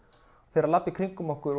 fer að labba í kringum okkur